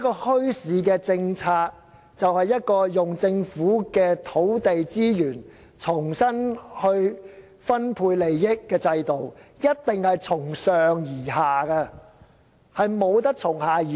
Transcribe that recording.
墟市政策其實是政府運用土地資源重新分配利益的制度，必定是由上而下，而不是由下而上。